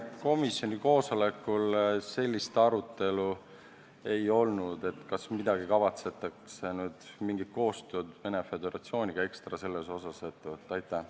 Komisjoni koosolekul sellist arutelu ei olnud, kas kavatsetakse nüüd mingit koostööd Venemaa Föderatsiooniga ekstra selles asjas ette võtta.